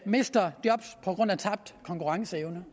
mister job på grund af tabt konkurrenceevne